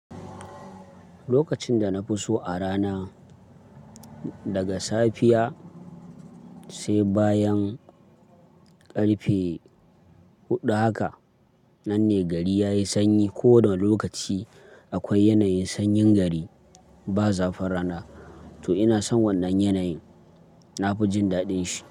Lokacin da na fi so a rana daga safiya sai bayan ƙarfe huɗu haka nan ne gari ya yi sanyi. Ko wane lokaci akwai yanayin sanyin gari ba zafin rana, to ina son wannan yanayin. Na fi jin daɗin shi.